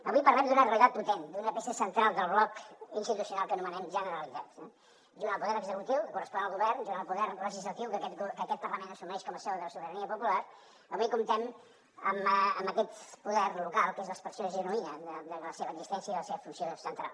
avui parlem d’una realitat potent d’una peça central del bloc institucional que anomenem generalitat junt al poder executiu que correspon al govern junt al poder legislatiu que aquest parlament assumeix com a seu de la sobirania popular avui comptem amb aquest poder local que és l’expressió genuïna de la seva existència i la seva funció central